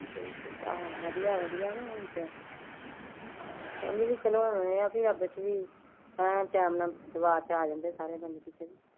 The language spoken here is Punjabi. ਵਧੀਆ ਵਧੀਆ ਹੁਣ ਤਾਂ